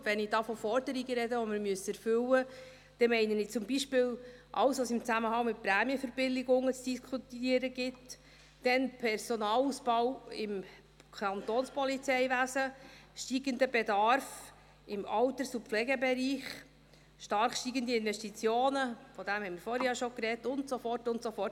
Und wenn ich von Forderungen spreche, die wir erfüllen müssen, meine ich zum Beispiel alles, was es im Zusammenhang mit Prämienverbilligungen zu diskutieren gibt, den Personalausbau im Kantonspolizeiwesen, den steigenden Bedarf im Alters- und Pflegebereich, stark steigende Investitionen – davon haben wir vorhin ja schon gesprochen – und so weiter und so fort;